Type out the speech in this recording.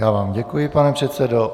Já vám děkuji, pane předsedo.